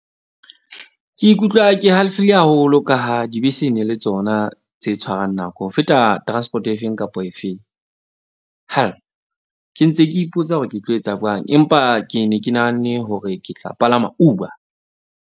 Ke ikutlwa ke halefile haholo ka ha dibese, ne le tsona tse tshwarang nako ho feta transport-o efeng kapa efeng. Ke ntse ke ipotsa hore ke tlo etsa jwang, empa ke ne ke nahanne hore ke tla palama Uber.